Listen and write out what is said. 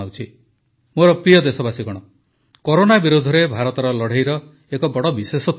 ମୋର ପ୍ରିୟ ଦେଶବାସୀଗଣ କରୋନା ବିରୋଧରେ ଭାରତର ଲଢ଼େଇର ଏକ ବଡ଼ ବିଶେଷତ୍ୱ ରହିଛି